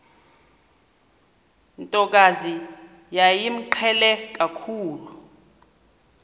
ntokazi yayimqhele kakhulu